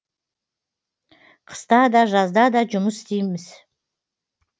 қыста да жазда да жұмыс істейміз